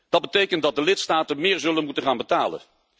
Dat betekent dat de lidstaten meer zullen moeten gaan betalen.